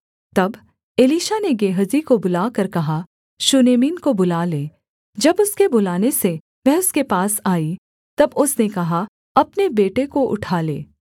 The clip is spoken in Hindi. तब एलीशा ने गेहजी को बुलाकर कहा शूनेमिन को बुला ले जब उसके बुलाने से वह उसके पास आई तब उसने कहा अपने बेटे को उठा ले